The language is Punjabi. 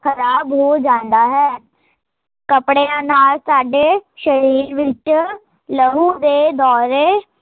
ਖਰਾਬ ਹੋ ਜਾਂਦਾ ਹੈ ਕੱਪੜਿਆ ਨਾਲ਼ ਸਾਡੇ ਸ਼ਰੀਰ ਵਿੱਚ, ਲਹੂ ਦੇ ਦੋਰੇ